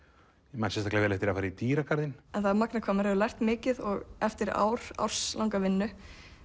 ég man sérstaklega eftir því að fara í dýragarðinn það er magnað hvað maður hefur lært mikið og eftir ár árslanga vinnu